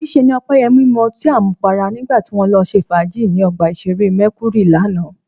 Níṣe ni Ọpẹ́yẹmí mu ọtí àmupara nígbà tí wọ́n lọ ṣe fàájì ní ọgbà ìṣeré Mercury lánàá